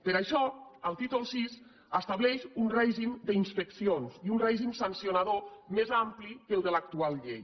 per això el títol vi estableix un règim d’inspeccions i un règim sancionador més ampli que el de l’actual llei